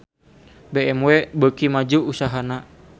BMW beuki maju usahana